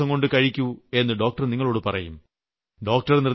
അത് 5 ദിവസംകൊണ്ട് കഴിക്കൂ എന്ന് ഡോക്ടർ നിങ്ങളോട് പറയും